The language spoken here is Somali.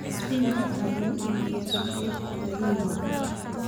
Spinach waxa lagu iibiyaa suuqyada tuulooyinka.